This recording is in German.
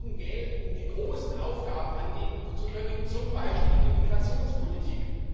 Wir brauchen Geld, um die großen Aufgaben angehen zu können, zum Beispiel die Migrationspolitik.